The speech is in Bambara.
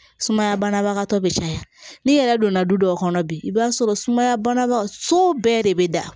Sumaya banabagatɔ bɛ caya n'i yɛrɛ donna du dɔw kɔnɔ bi i b'a sɔrɔ sumaya banabatɔ so bɛɛ de bɛ da